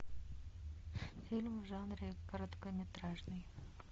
фильм в жанре короткометражный